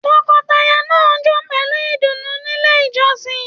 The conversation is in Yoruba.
Tọkọtaya náà jó pẹlú ìdùnnú nílé ìjọsìn.